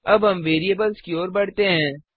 अब हम वेरिएबल्स की ओर बढ़ते हैं